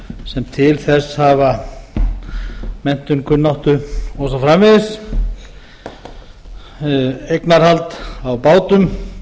sem til þess hafa menntun kunnáttu og svo framvegis eignarhald á bátum